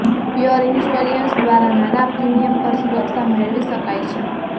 pure insurance દ્વારા નાના premium પર સુરક્ષા મેળવી શકાય છે